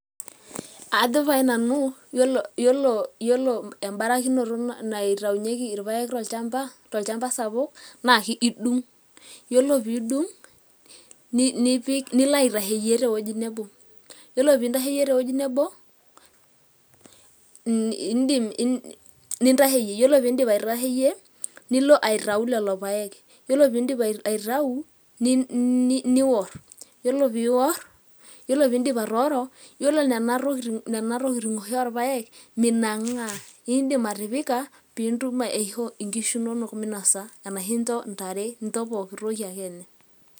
Ajo pae nanu yiolo embarakinoto naitayunyieki irpaek tolchamba sapuk naa idung' ore pee idung' nilo aitasheyie tewueji nebo, yiolo pee iidip aitasheyie tewuei nebo nilo aiatayu lelo paek, ore pee iidip aitayu niorr, ore piidip atooro, yiolo nena tokitin oshi orpaek minang'aa, iindip atipika piitum aishoo nkishu inonok minasa, arashu incho ntare, incho pookin toki ake.